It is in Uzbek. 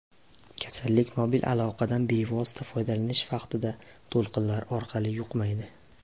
Kasallik mobil aloqadan bevosita foydalanish vaqtida, to‘lqinlar orqali yuqmaydi.